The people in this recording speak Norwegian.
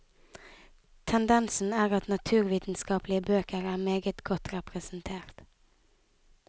Tendensen er at naturvitenskapelige bøker er meget godt representert.